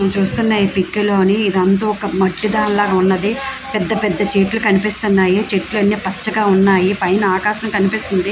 నేను చూస్తున్న ఈ పిక్ లోని ఇదంతా ఒక మట్టి దాని లాగా ఉన్నది పెద్ధ పెద్ధ చెట్లు కనిపిస్తున్నాయి చెట్లు అన్నీ పచ్చగా ఉన్నాయి పైన ఆకాశం కనిపిస్తుంది.